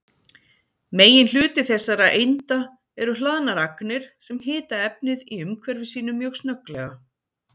Meginhluti þessara einda eru hlaðnar agnir sem hita efnið í umhverfi sínu mjög snögglega.